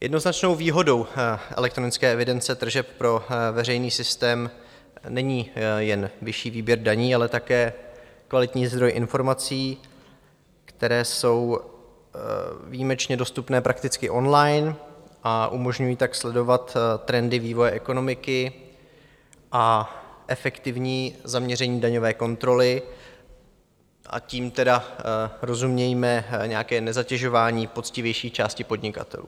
Jednoznačnou výhodou elektronické evidence tržeb pro veřejný systém není jen vyšší výběr daní, ale také kvalitní zdroj informací, které jsou výjimečně dostupné prakticky on-line, a umožňují tak sledovat trendy vývoje ekonomiky a efektivní zaměření daňové kontroly, tím tedy rozumějme nějaké nezatěžování poctivější části podnikatelů.